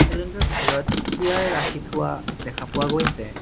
Salon টোৰ ভিতৰত chair ৰাখি থোৱা দেখা পোৱা গৈছে।